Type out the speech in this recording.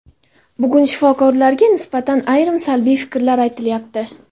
Bugun shifokorlarga nisbatan ayrim salbiy fikrlar aytilyapti.